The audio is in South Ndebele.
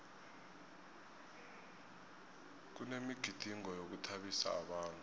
kunemigidingo yokuthabisa abantu